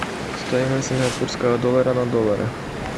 стоимость сингапурского доллара на доллары